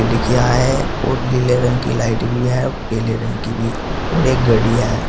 खिड़कियां है और नीले रंग की लाइट भी है और पीले रंग की भी और एक घड़ी है।